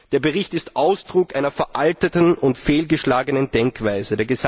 Der Bericht ist Ausdruck einer veralteten und fehlgeschlagenen Denkweise.